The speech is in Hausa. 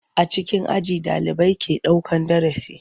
A cikin aji ɗalibai ke daukan darasi.